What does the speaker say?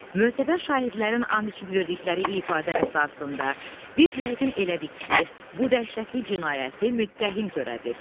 Möhtəbər şahidlərin and içib verdikləri ifadə əsasında, biz yəqin elədik ki, bu dəhşətli cinayəti müttəhim törədib.